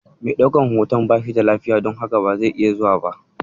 Mai ɗaukan hoton bashi da lafiya, don haka ba zai iya zuwa ba.